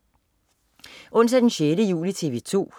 Onsdag den 16. juli - TV 2: